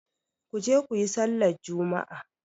Ku je ku yi sallar juma'a!